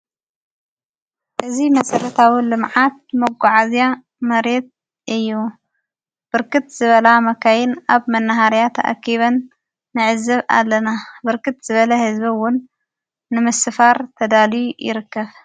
እዙ መጸለታዊን ልምዓት መጐዓእዝያ መሬት እዩ ብርክት ዝበላ መካይን ኣብ መነሃርያተ ኣኪበን ነዕዘብ ኣለና ብርክት ዝበለ ሕዝቢውን ንምስፋር ተዳልዩ ይርከብ ::